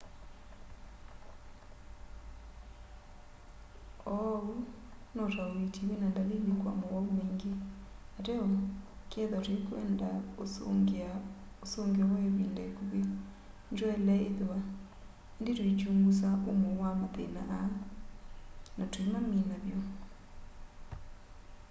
uu no ta uiiti wina ndalili kwa mowau maingi ateo kethwa tuikwenda usungio wa ivinda ikuvi nitwaile ithwa indi tuikyungusa umo wa mathina aa na tuimamina vyu